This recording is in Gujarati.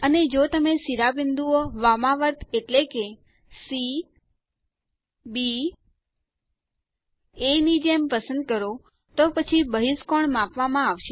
અને જો તમે શિરોબિંદુઓ વામાવર્ત એટલે કે સી બી એ ની જેમ પસંદ કરો તો પછી બહિષ્કોણ માપવામાં આવે છે